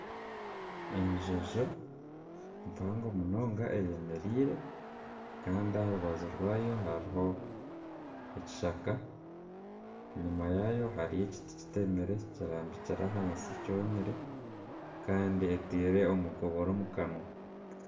Enjojo mpango munonga eyemereire kandi aha rubaju rwayo hariho ekishaka enyima yaayo hariyo ekiti kitemire kirambikire ahansi kyomire. Kandi etaire omukobore omu kanwa.